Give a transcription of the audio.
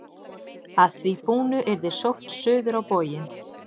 Að því búnu yrði sótt suður á bóginn.